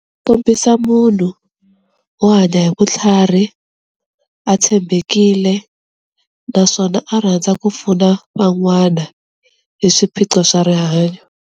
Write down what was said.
Kombisa munhu wo hanya hi vutlhari a tshembekile naswona a rhandza ku pfuna van'wana hi swiphiqo swa rihanyo.